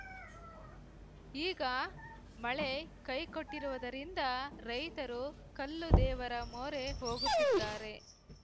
ಈಗ ಮಳೆ ಕೈ ಕೊಟ್ಟಿರುವುದರಿಂದ ರೈತರು ಕಲ್ಲು ದೇವರ ಮೊರೆ ಹೋಗುತ್ತಿದ್ದಾರೆ